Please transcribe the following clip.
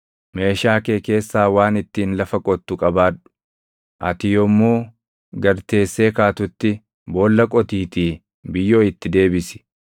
Meeshaa kee keessaa waan ittiin lafa qottu qabaadhu; ati yommuu gad teessee kaatutti boolla qotiitii biyyoo itti deebisi.